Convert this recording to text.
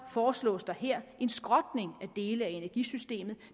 foreslås der her en skrotning at dele af energisystemet